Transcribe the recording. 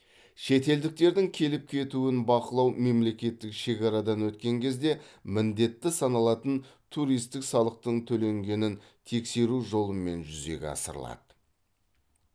шетелдіктердің келіп кетуін бақылау мемлекеттік шекарадан өткен кезде міндетті саналатын туристік салықтың төленгенін тексеру жолымен жүзеге асырылады